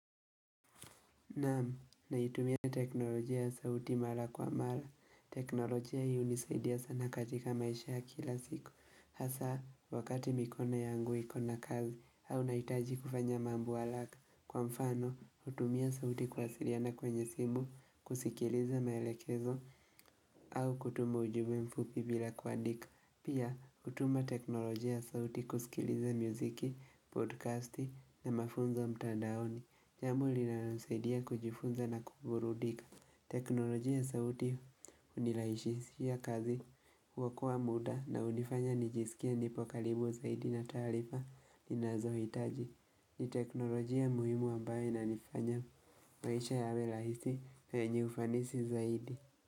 Naam, naitumia teknolojia ya sauti mara kwa mara. Teknolojia hiunisaidia sana katika maisha ya kila siku. Hasa, wakati mikono yangu iko na kazi, au nahitaji kufanya mambo haraka. Kwa mfano, hutumia sauti kuwasiliana kwenye simu, kusikiliza maelekezo, au kutuma ujumbe mfupi bila kuandika. Pia, hutuma teknolojia ya sauti kusikiliza mziki, podcasti na mafunzo mtandaoni. Jambo linalonisaidia kujifunza na kuburudika. Teknolojia sauti hunirahisishia kazi huokoa muda na hunifanya nijisikie nipo karibu zaidi na taarifa ninazohitaji. Ni teknolojia muhimu ambaye inanifanya maisha yawe rahisi na yenye ufanisi zaidi.